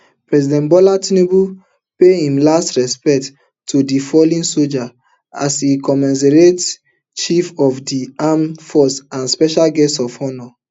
president bola tinubu pay im last respect to di fallen sojas as di commaderinchief of di armed forces and special guest of honour